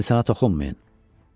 İnsana toxunmayın.